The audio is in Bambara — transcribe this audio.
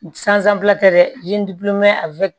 tɛ dɛ